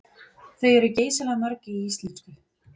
Þau eru geysilega mörg í íslensku.